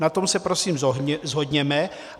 Na tom se prosím shodněme.